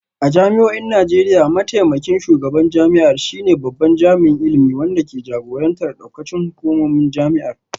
A jami'o'in Najeriya, mataimakin shugaban jami'ar shine babban jami'in ilimi wanda ke jagorantar daukacin hukumomin jami'ar